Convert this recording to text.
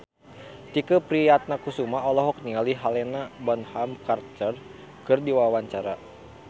Tike Priatnakusuma olohok ningali Helena Bonham Carter keur diwawancara